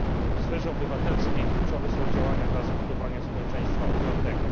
W sferze obywatelskiej kluczowe są działania dla zbudowania społeczeństwa otwartego.